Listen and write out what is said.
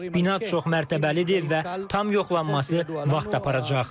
Bina çoxmərtəbəlidir və tam yoxlanması vaxt aparacaq.